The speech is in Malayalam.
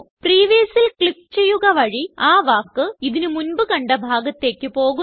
Previousല് ക്ലിക്ക് ചെയ്യുക വഴി ആ വാക്ക് ഇതിന് മുൻപ് കണ്ട ഭാഗത്തേക്ക് പോകുന്നു